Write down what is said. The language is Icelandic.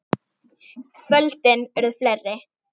Kvöldin urðu fleiri.